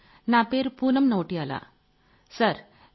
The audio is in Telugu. సార్ నా పేరు పూనమ్ నౌటియాలా | సార్